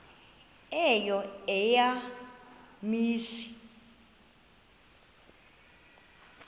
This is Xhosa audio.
eyo eya mizi